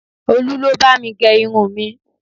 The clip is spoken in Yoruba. Olu ló bá mi gẹ irun mi